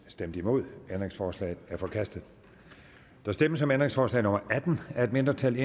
stemte nul ændringsforslaget er forkastet der stemmes om ændringsforslag nummer atten af et mindretal